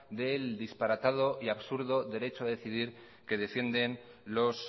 del disparatado y absurdo derecho a decidir que defienden los